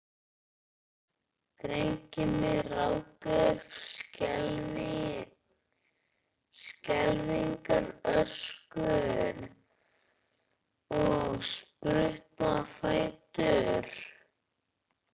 Drengirnir ráku upp skelfingaröskur og spruttu á fætur.